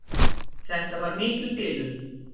Þetta var mikil bilun.